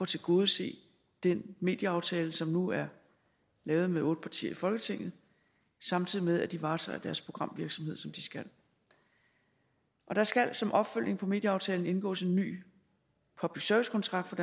tilgodese den medieaftale som nu er lavet med otte partier i folketinget samtidig med at de varetager deres programvirksomhed som de skal og der skal som opfølgning på medieaftalen indgås en ny public service kontrakt for